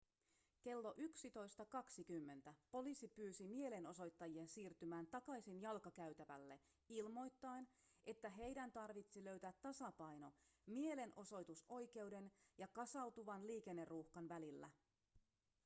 kello 11.20 poliisi pyysi mielenosoittajia siirtymään takaisin jalkakäytävälle ilmoittaen että heidän tarvitsi löytää tasapaino mielenosoitusoikeuden ja kasautuvan liikenneruuhkan välillä